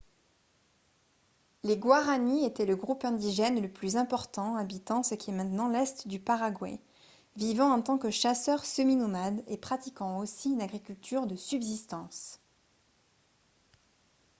les guaraní étaient le groupe indigène le plus important habitant ce qui est maintenant l’est du paraguay vivant en tant que chasseurs semi-nomades et pratiquant aussi une agriculture de subsistance